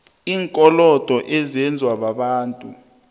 iinkolodo ezenziwa babantu